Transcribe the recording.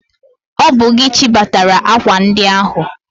Ọ bụ gị chịbatara akwa ndi ahụ!